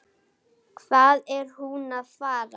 Hvað er hún að fara?